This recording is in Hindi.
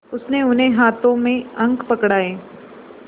उसने उन्हें हाथों में अंक पकड़ाए